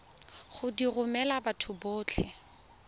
go di romela batho botlhe